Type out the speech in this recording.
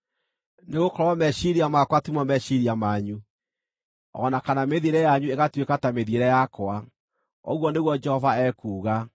“Nĩgũkorwo meciiria makwa timo meciiria manyu, o na kana mĩthiĩre yanyu ĩgatuĩka ta mĩthiĩre yakwa,” ũguo nĩguo Jehova ekuuga.